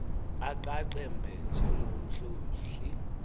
aqaqa mbe njengomhlohli